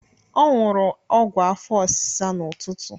Ọ ṅụrụ ọgwụ afọ ọsịsa n'ụtụtụ.